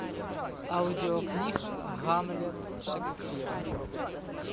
аудиокнига гамлет шекспира